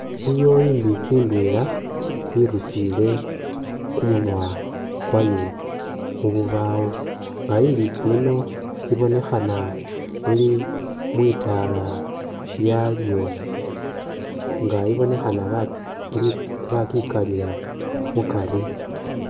Iliwo i'mbitsi ndwela irusiile kumunwa kwayo mu bubawo nga i'mbitsi yino ibonekhana ili mwitaala lyayo nga ibonekhana ba bakikalila mukari.